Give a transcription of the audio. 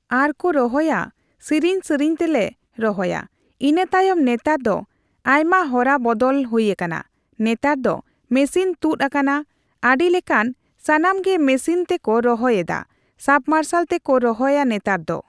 ᱟᱨᱠᱩ ᱨᱚᱦᱚᱭᱟ ᱥᱤᱨᱤᱧ ᱥᱤᱨᱤᱧ ᱛᱮᱞᱮ ᱨᱚᱦᱚᱭᱟ ᱤᱱᱟᱹᱛᱟᱭᱚᱢ ᱱᱮᱛᱟᱨ ᱫᱚ ᱟᱭᱢᱟ ᱨᱚᱫᱵᱟᱫᱚᱞ ᱦᱩᱭ ᱟᱠᱟᱱᱟ ᱱᱮᱛᱟᱨ ᱫᱚ ᱢᱮᱥᱤᱱ(Machine) ᱛᱩᱫ ᱟᱠᱟᱱᱟ ᱟᱰᱤᱞᱮᱠᱟᱱ ᱥᱟᱱᱟᱢᱜᱤ ᱢᱮᱥᱤᱱ((Machine)) ᱛᱮᱠᱩ ᱨᱚᱦᱚᱭ ᱮᱫᱟ ᱥᱟᱵᱢᱟᱨᱥᱟᱞ ᱛᱮᱠᱩ ᱨᱚᱦᱚᱭ ᱱᱮᱛᱟᱨ ᱫᱚ